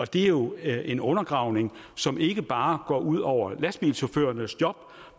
det er jo en undergravning som ikke bare går ud over lastbilchaufførernes job